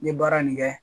N ye baara nin kɛ